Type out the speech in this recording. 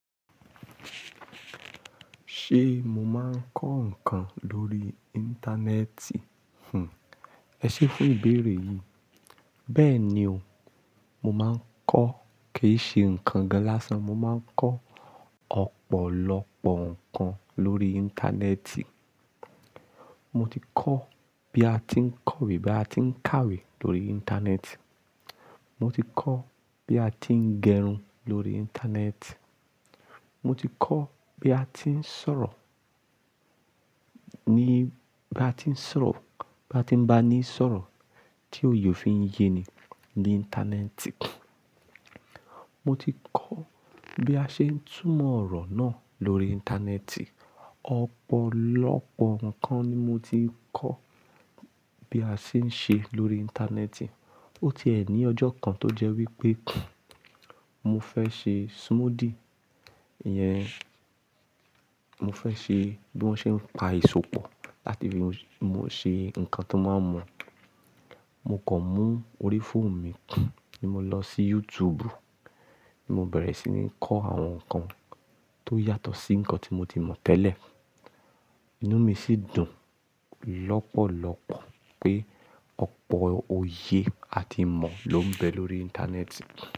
Ṣé mo máa ń kọ́ nǹkan lórí Íńtánẹ́ẹ̀tì? Ẹ ṣé fún ìbéèrè yìí. Bẹ́ẹ̀ni o, mo máa ń kọ́ kìí ṣe nǹkan gán lásan. Mo máa ń kọ́ ọ̀pọ̀lọpọ̀ nǹkan lórí Íńtánẹ́ẹ̀tì. Mo ti kọ́ bí a ti ń kọ̀wé, bí a ti ń kàwé lórí Íńtánẹ́ẹ̀tì. Mo ti kọ́ bí a ti ń gẹrun lórí Íńtánẹ́ẹ̀tì. Mo ti kọ́ bí a ti ń sọ̀rọ̀ ní, bí a ti ń sọ̀rọ̀, bí a ti ń bá ni sọ̀rọ̀ tí oyè ó fi ń yé ni ní Íńtánẹ́ẹ̀tì. Mo ti kọ́ bí a ṣe ń túmọ̀ ọ̀rọ̀ náà lórí Íńtánẹ́ẹ̀tì. Ọ̀pọ̀lọpọ̀ nǹkan ni mo ti kọ́ bí a ṣe ń ṣe lórí Íńtánẹ́ẹ̀tì. Ó ti è ní ọjọ́ kan tó jẹ́ wípé mo fẹ́ se smoothy, ìyẹn mo fẹ́ ṣe bí wọ́n ṣe ń pa Eso pọ̀ láti fi ṣe nǹkan ta máa n mu Mo kàn mú orí fóònù mi, bí mo lọ sí YouTube, mo bẹ̀rẹ̀ sí ní kọ́ àwọn nǹkan tó yàtọ̀ sí nǹkan tí mo ti mọ̀ tẹ́lẹ̀. Inú mi sì dùn lọ́pọ̀lọpọ̀ pé ọ̀pọ̀ oyè a ti imọ̀ ló ń bẹ lórí Íńtánẹ́ẹ̀tì.